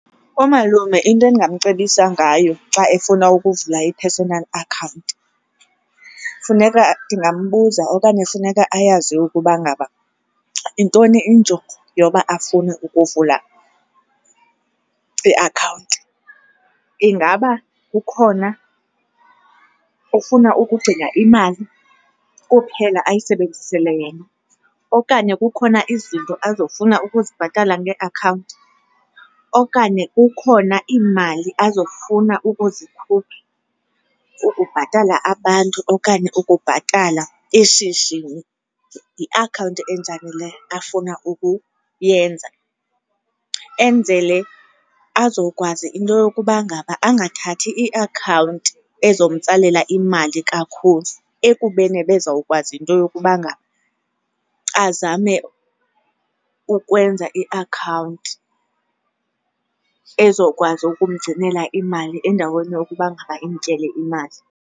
Umalume into endingamcebisa ngayo xa efuna ukuvula i-personal accont funeka, ndingambuza okanye funeka ayazi ukuba ngaba yintoni injongo yoba afune ukuvula iakhawunti. Ingaba kukhona, ufuna ukugcina imali kuphela ayisebenzisele yena okanye kukhona izinto azofuna ukuzibhatala ngeakhawunti, okanye kukhona iimali azofuna ukuzikhupha ukubhatala abantu okanye ukubhatala eshishini? Yiakhawunti enjani le afuna ukuyenza, enzele azokwazi into yokuba ngaba angathathi iakhawunti ezomtsalela imali kakhulu ekubeni ebezawukwazi into yokuba ngaba azame ukwenza iakhawunti ezokwazi ukumgcinela imali endaweni yokuba ngaba imtyele imali.